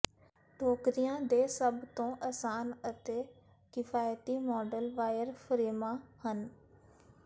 ਟੋਕਰੀਆਂ ਦੇ ਸਭ ਤੋਂ ਅਸਾਨ ਅਤੇ ਕਿਫਾਇਤੀ ਮਾਡਲ ਵਾਇਰਫਰੇਮਾਂ ਹਨ